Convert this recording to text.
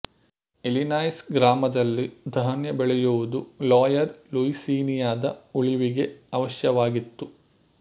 Illinois ಗ್ರಾಮದಲ್ಲಿ ಧಾನ್ಯ ಬೆಳೆಯುವುದು ಲೋಯರ್ ಲೂಯಿಸೀನಿಯಾದ ಉಳಿವಿಗೆ ಅವಶ್ಯವಾಗಿತ್ತು